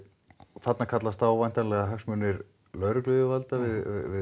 þarna kallast á væntanlega hagsmunir lögregluyfirvalda við